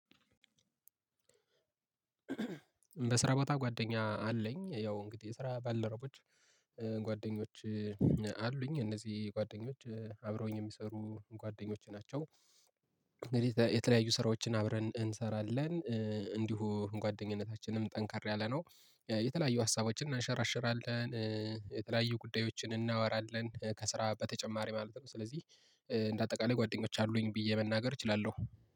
በስራ ቦታ ጓደኛ አለኝ ያው እንግዲህ የስራ ባልደረቦች ጓደኞች አሉኝ፤ እነዚህ ጓደኞች አብረውኝ የሚሰሩ ጓደኞች ናቸው፤ እንግዲህ የተለያዩ ስራዎችን አብረን እንሰራለን እንዲሁ ጓደኝነታችንም ጠንካራ ያለ ነው፤ የተለያዩ ሀሳቦችን እናንሸራሽራለን፤ የተለያዩ ጉዳዮችን እናወራለን ከስራ በተጨማሪ ማለት ነው፤ ስለዚህ እንደ አጠቃላይ ጓደኞች አሉኝ ብዬ መናገር እችላለሁ።